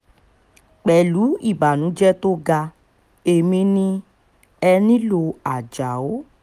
pẹ̀lú ìbànújẹ́ tó ga èmi ní ẹnilọ́ ajáò